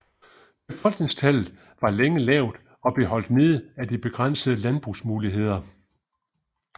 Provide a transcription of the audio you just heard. Befolkningstallet var længe lavt og blev holdt nede af de begrænsede landbrugsmuligheder